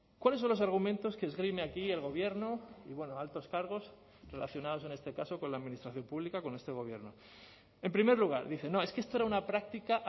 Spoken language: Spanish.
cuáles son los argumentos que esgrime aquí el gobierno y bueno altos cargos relacionados en este caso con la administración pública con este gobierno en primer lugar dice no es que esto era una práctica